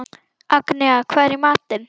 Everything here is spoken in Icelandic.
Agnea, hvað er í matinn?